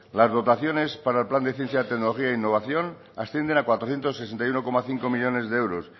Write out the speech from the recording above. las dotaciones para el plan de ciencia tecnología e innovación ascienden a cuatrocientos sesenta y uno coma cinco millónes de euros